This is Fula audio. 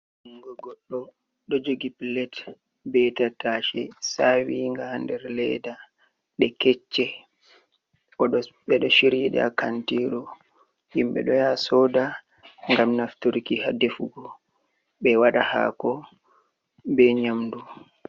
Jungo goɗɗo, ɗo jogi pilet be tattase saawinga haa nder leeda. Ɗe kecche, ɓe ɗo shiryi ɗe haa kantiru. Himɓe ɗo yaha sooda ngam nafturki haa defugo, ɓe waɗa haako be nƴamdu.